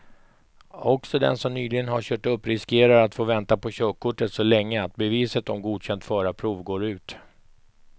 Också den som nyligen har kört upp riskerar att få vänta på körkortet så länge att beviset om godkänt förarprov går ut.